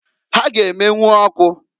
Ha ga- emenwu ọkụ.